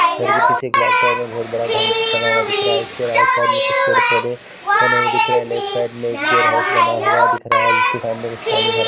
घर के पीछे एक वाइट कलर का बहुत बड़ा घर बना हुआ दिख रहा हैं इसके राइट साइड में पेड़ पौध बने हुए दिख रहे हैं और लेफ्ट साइड में बैयरहाउस बना हुआ दिख रहा हैं जिसके सामने कुछ पानी भरा--